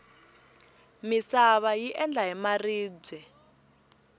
misava yi endla hi maribye